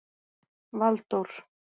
Valdór